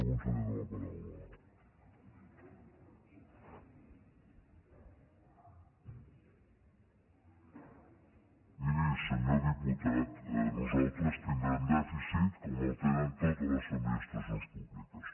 miri senyor diputat nosaltres tindrem dèficit com en tenen totes les administracions públiques